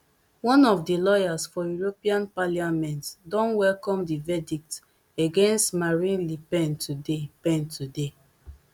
one of di lawyers for european parliament don welcome di verdict against marine le pen today pen today